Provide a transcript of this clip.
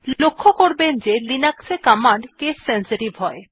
লক্ষ্য করবেন যে লিনাক্স এ কমান্ড কেস সেনসিটিভ হয়